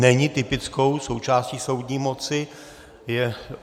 Není typickou součástí soudní moci.